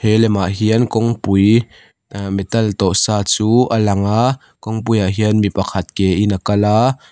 he lemah hian kawngpui uh metal tawh sa chu a langa kawngpui ah hian mipakhat ke in a kala --